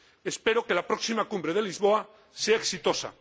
Espero que la próxima Cumbre de Lisboa sea exitosa.